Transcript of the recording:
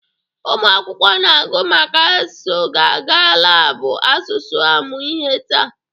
Ụmụ akwụkwọ na-agụ maka asụsụ ga-aga labụ asụsụ amụ ihe taa